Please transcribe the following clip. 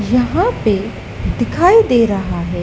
यहाँ पे दिखाई दे रहा है।